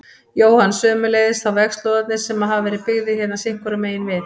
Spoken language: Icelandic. Jóhann: Sömuleiðis þá vegslóðarnir sem hafa verið byggðir hérna sitthvoru megin við?